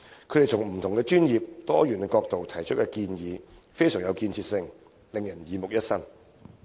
他們從不同專業、多元角度提出的建議非常具建設性，令人耳目一新。